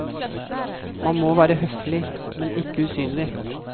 Man må være høflig, men ikke usynlig.